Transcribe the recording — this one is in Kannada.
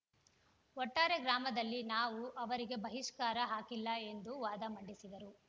ಒಟ್ಟಾರೆ ಗ್ರಾಮದಲ್ಲಿ ನಾವು ಅವರಿಗೆ ಬಹಿಷ್ಕಾರ ಹಾಕಿಲ್ಲ ಎಂದು ವಾದ ಮಂಡಿಸಿದರು